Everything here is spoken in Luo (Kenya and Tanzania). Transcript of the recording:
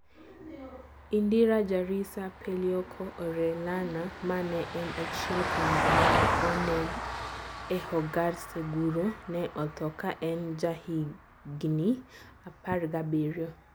Indira Jarisa PelicoĚ Orellana, ma ne en achiel kuom joma ne oneg e "Hogar Seguro", ne otho ka en jahigini 17.